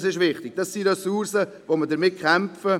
Dies ist wichtig, es sind Ressourcen, um die wir kämpfen.